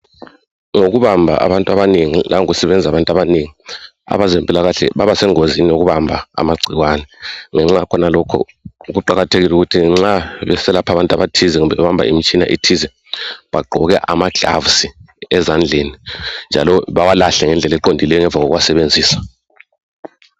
Ngokubamba abantu abanengi langokusebenza abantu abanengi abezempilakahle babasengozini yokubamba amagcikwane, ngenxa yakho lokhu kuqakathekile ukuthi nxa beselapha abantu abathize kumbe bebamba imitshina ethize begqoke amaglavisi ezandleni njalo bewalahle ngendlela eqondileyo ngemva koku wasebenzisa..